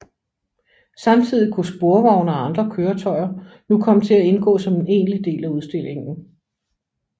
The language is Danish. Samtidig kunne sporvogne og andre køretøjer nu komme til at indgå som en egentlig del af udstillingen